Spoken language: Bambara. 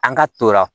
An ka t'o la